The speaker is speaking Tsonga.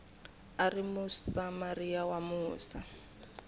a ri musamariya wa musa